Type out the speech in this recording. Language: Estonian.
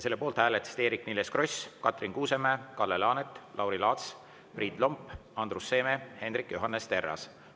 Selle poolt hääletasid Eerik-Niiles Kross, Katrin Kuusemäe, Kalle Laanet, Lauri Laats, Priit Lomp, Andrus Seeme ja Hendrik Johannes Terras.